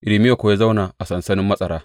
Irmiya kuwa ya zauna a sansanin matsara.